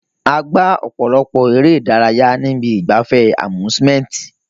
A gbá ọ̀pọ̀lọpọ̀ eré ìdárayá ní ibi ìgbafẹ́ amsuement.